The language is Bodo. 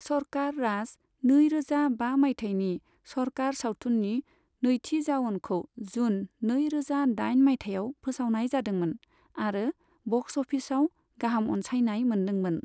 सरकार राज, नै रोजा बा माइथायनि सरकार सावथुननि नैथि जावनखौ जुन नै रोजा दाइन माइथायाव फोसावनाय जादोंमोन आरो बक्स अफिसयाव गाहाम अनसायनाय मोनदोंमोन।